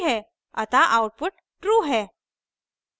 अतः output true है